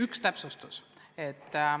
Üks täpsustus.